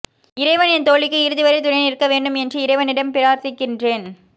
இறைவன் என் தோழிக்கு இறுதிவரை துணை நிற்க வேண்டும் என்று இறைவனிடம் பிரார்த்திக்கின்றேன்